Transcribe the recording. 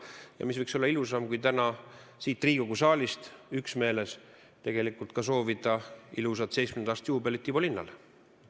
Ja mis võiks olla ilusam kui täna siit Riigikogu saalist üksmeeles soovida ilusat 70. aasta juubelit Ivo Linnale.